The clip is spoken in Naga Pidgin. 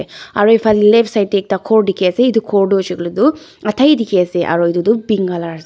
aro faley left side tey ekta ghor dikey ase aro ghor hoisey koiley toh adha dikey ase etu toh pink colour ase.